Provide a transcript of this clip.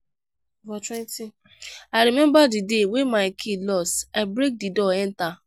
i rememba di day wey my key loss i break di door enta.